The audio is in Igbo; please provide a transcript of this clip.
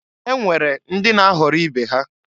E nwere ndị na-aghọrị ibe ha.